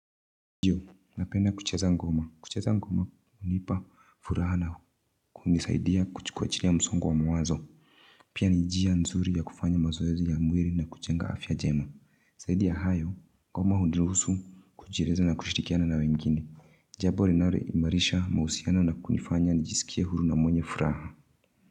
Ndiyo napenda kucheza ngoma kucheza ngoma hunipa furaha na kunisaidia kujiachilia kwajili ya msongo wa mawazo Pia ni njia nzuri ya kufanya mazoezi ya mwili na kujenga afya jema Zaidi ya hayo ngoma huniruhusu kujieleza na kushirikiana na wengine Jambo linaloimarisha mahusiano na kunifanya nijisikie huru na mwenye furaha.